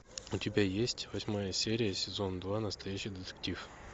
у тебя есть восьмая серия сезон два настоящий детектив